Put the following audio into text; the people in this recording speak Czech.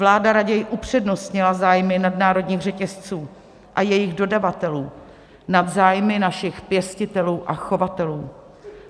Vláda raději upřednostnila zájmy nadnárodních řetězců a jejich dodavatelů nad zájmy našich pěstitelů a chovatelů.